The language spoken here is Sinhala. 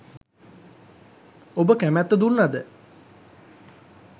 ඔබ කැමැත්ත දුන්නද